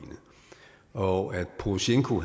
og når porosjenko